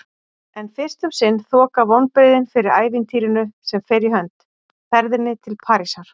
En fyrst um sinn þoka vonbrigðin fyrir ævintýrinu sem fer í hönd: ferðinni til Parísar.